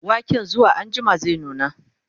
waken zuwa anjima zai nuna